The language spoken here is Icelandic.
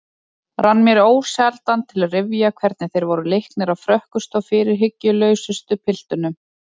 Rann mér ósjaldan til rifja hvernig þeir voru leiknir af frökkustu og fyrirhyggjulausustu piltunum.